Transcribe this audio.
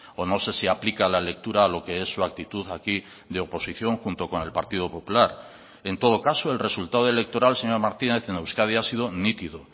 o no sé si aplica la lectura a lo que es su actitud aquí de oposición junto con el partido popular en todo caso el resultado electoral señor martínez en euskadi ha sido nítido